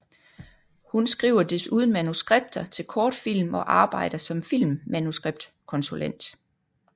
Hun skriver desuden manuskripter til kortfilm og arbejder som filmmanuskriptkonsulent